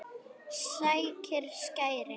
Sækir skæri.